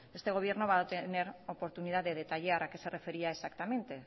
este gobierno va a tener oportunidad de detallar a qué se refería exactamente